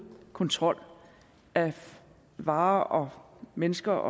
kontrol af varer mennesker